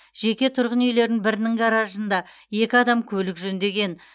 жеке тұрғын үйлердің бірінің гаражында екі адам көлік жөндеген